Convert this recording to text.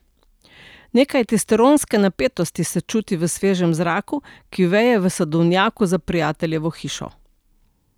Nekaj testosteronske napetosti se čuti v svežem zraku, ki veje v sadovnjaku za prijateljevo hišo.